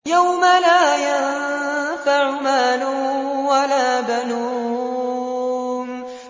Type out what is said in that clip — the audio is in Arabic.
يَوْمَ لَا يَنفَعُ مَالٌ وَلَا بَنُونَ